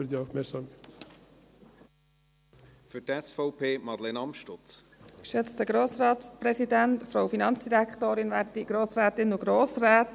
Es geht bei diesem Vorstoss um Transparenz, das haben wir gehört.